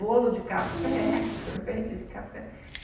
Bolo de café, sorvete de café.